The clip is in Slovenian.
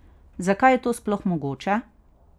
Zakaj je to sploh mogoče?